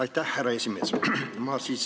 Aitäh, härra esimees!